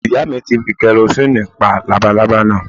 Ìyá mi ti fi karosínì pa lábalábá náà